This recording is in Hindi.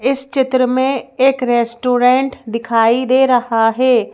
इस चित्र में एक रेस्टोरेंट दिखाई दे रहा है।